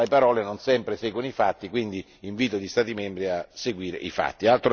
Alle parole non sempre seguono i fatti, quindi invito gli Stati membri a far seguire i fatti.